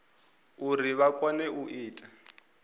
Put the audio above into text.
uri vha kone u ita